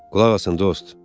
Qulaq asın dost.